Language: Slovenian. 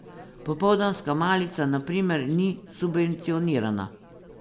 Popoldanska malica, na primer, ni subvencionirana.